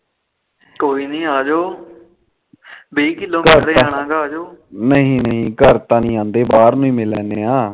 ਨਹੀ ਨਹੀ ਘਰ ਤਾਨੀ ਆਦੇ ਬਾਹਰ ਹੀ ਮਿਲ ਲੈਂਦੇ ਆ